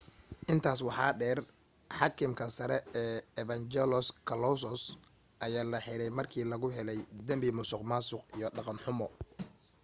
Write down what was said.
intaas waxa dheer xaakimka sare ee evangelos kalousis ayaa la xiray markii lagu helay dambi musuqmaasuq iyo dhaqan xumo